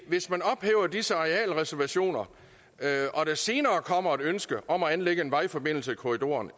hvis man ophæver disse arealreservationer og der senere kommer et ønske om at anlægge en vejforbindelse i korridoren